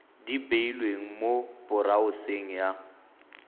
di beilweng mo boraoseng ya